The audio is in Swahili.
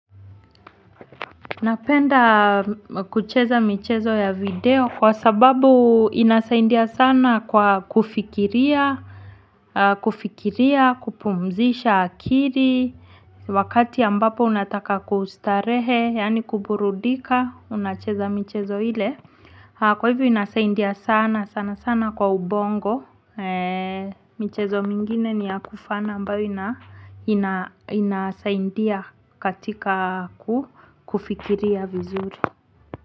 Napenda kucheza michezo ya video kwa sababu inasaidia sana kwa kufikiria kufikiria kupumzisha akili wakati ambapo unataka kustarehe yani kuburudika unacheza michezo ile. Kwa hivyo inasaidia sana sana sana kwa ubongo mchezo mingine ni ya kufana ambayo inasaindia katika kufikiria vizuri.